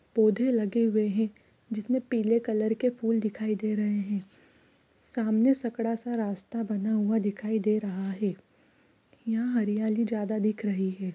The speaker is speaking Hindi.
पोधे लगे हुए हे जिस में पीले रंग के फुल दिखाई दे रहे हे सामने सकरा सा रास्ता बना हुआ दिखाई दे रहा हे यहाँ हरियाली ज्यादा दिख रही हे ।